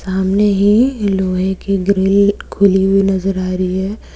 सामने ही लोहे की ग्रिल खुली हुई नजर आ रही है।